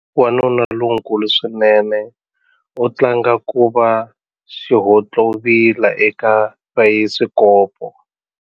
Wanuna lonkulu swinene u tlanga ku va xihontlovila eka bayisikopo.